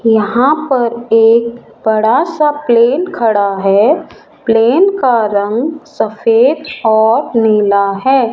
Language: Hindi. यहां पर एक बड़ा सा प्लेन खड़ा है प्लेन का रंग सफेद और नीला हैं।